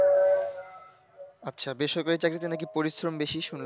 আচ্ছা বেসরকারি চাকরিতে নাকি পরিশ্রম বেশি শুনলাম?